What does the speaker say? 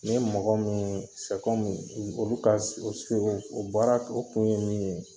Ni ye mɔgɔ min sɛ kɔmi olu ka sirow o baara o kun ye min ye